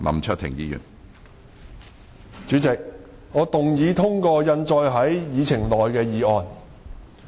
主席，我動議通過印載於議程內的議案。